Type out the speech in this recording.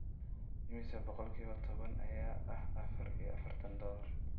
Imisa boqolkiiba toban ayaa ah afar iyo afartan dollar?